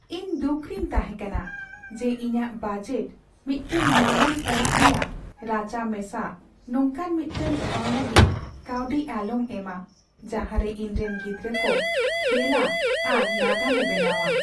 ᱤᱧ ᱫᱩᱠᱷᱨᱤᱧ ᱛᱟᱦᱮᱸ ᱠᱟᱱᱟ ᱡᱮ ᱤᱧᱟᱹᱜ ᱵᱟᱡᱮᱴ ᱢᱤᱫᱴᱟᱝ ᱢᱟᱨᱟᱝ ᱚᱲᱟᱜ ᱨᱮᱭᱟᱜ ᱨᱟᱪᱟ ᱢᱮᱥᱟ ᱱᱚᱝᱠᱟᱱ ᱢᱤᱫᱴᱟᱝ ᱴᱷᱟᱣ ᱞᱟᱹᱜᱤᱫ ᱠᱟᱹᱣᱰᱤ ᱟᱞᱚᱢ ᱮᱢᱟ ᱡᱟᱦᱟᱸᱨᱮ ᱤᱧᱨᱮᱱ ᱜᱤᱫᱽᱨᱟᱹ ᱠᱚ ᱠᱷᱮᱞᱟ ᱟᱨ ᱱᱟᱜᱟᱢᱮ ᱵᱮᱱᱟᱣᱟ ᱾